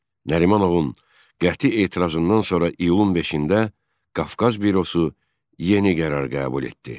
Nərimanovun qəti etirazından sonra iyulun 5-də Qafqaz bürosu yeni qərar qəbul etdi.